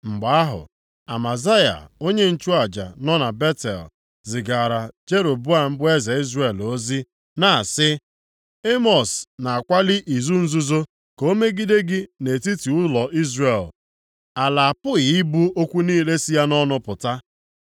Mgbe ahụ, Amazaya onye nchụaja nọ na Betel zigaara Jeroboam bụ eze Izrel ozi na-asị, “Emọs na-akwalị izu nzuzo ka ọ megide gị nʼetiti ụlọ Izrel, ala apụghị ibu okwu niile sị ya nʼọnụ apụta.